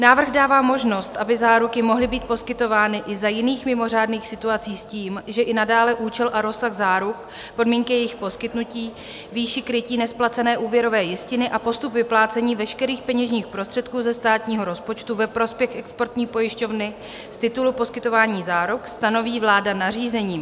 Návrh dává možnost, aby záruky mohly být poskytovány i za jiných mimořádných situací s tím, že i nadále účel a rozsah záruk, podmínky jejich poskytnutí, výši krytí nesplacené úvěrové jistiny a postup vyplácení veškerých peněžních prostředků ze státního rozpočtu ve prospěch exportní pojišťovny z titulu poskytování záruk stanoví vláda nařízením.